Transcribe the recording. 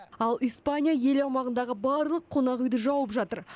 ал испания ел аумағындағы барлық қонақ үйді жауып жатыр